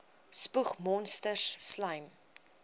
spoeg monsters slym